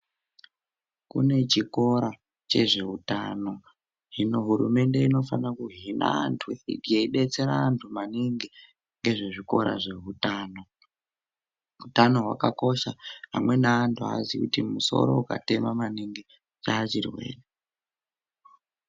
Kune chikora chezveutano hino hurumende inofanira kuhina andhu yeibetsira vandhu mainingi ngezvezvikora zveutano utano . Utano hwakakosha amweni andhu aaziyi kuti musoro ukatema maningi chachirwere